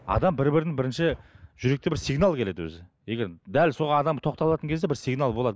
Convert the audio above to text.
адам бір бірін бірінші жүректе бір сигнал келеді өзі егер дәл сол адамға тоқталатын кезде бір сигнал болады